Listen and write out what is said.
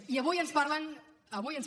i avui ens parlen avui ens